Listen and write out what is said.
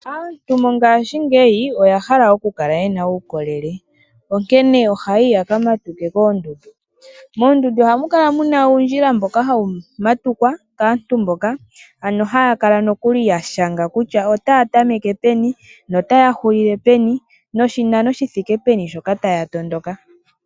Aantu mongashingeyi oya hala okukala yena uukolele ,onkene ohaayi ya kamatuke koondudu. Moondudu ohamu kala muna uundjila mboka hawu matukwa kaantu mboka, ano haya kala nokuli yashanga kutya otay a tameke peni nootahulile peni noshinano shithike peni shoka taya tondoka.